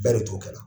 Bɛɛ de t'o kɛ